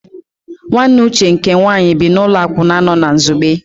Nwanne Uche nke nwaanyị bi n'ụlọ akwụna nọ na Nsugbe.